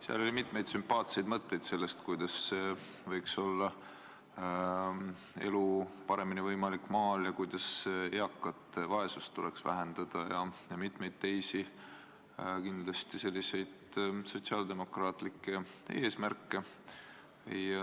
Seal oli mitmeid sümpaatseid mõtteid selle kohta, kuidas elu maal võiks paremini võimalik olla ja kuidas eakate vaesust tuleks vähendada, ning mitmeid teisi selliseid sotsiaaldemokraatlikke eesmärke.